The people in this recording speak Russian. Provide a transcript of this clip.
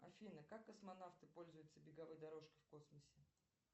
афина как космонавты пользуются беговой дорожкой в космосе